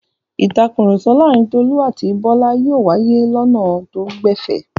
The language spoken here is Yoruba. Ìtakùrọ̀sọ láàárin Tolú àti Bọ́lá yóò wáyé lọnà tó gbẹ̀fẹ̀.